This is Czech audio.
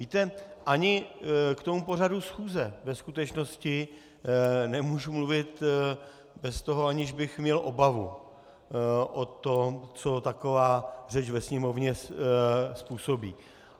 Víte, ani k tomu pořadu schůze ve skutečnosti nemůžu mluvit bez toho, aniž bych měl obavu o tom, co taková řeč ve Sněmovně způsobí.